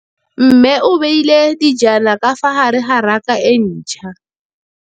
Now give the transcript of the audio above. Mmê o beile dijana ka fa gare ga raka e ntšha.